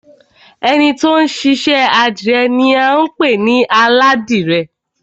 Ẹni ti ó ń ṣiṣẹ́ àdìrẹ ni à ń pè ní Aládìrẹ